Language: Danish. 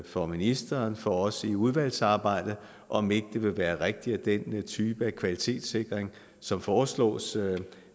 for ministeren og for os i udvalgsarbejdet om ikke det vil være rigtigt at den type af kvalitetssikring som foreslås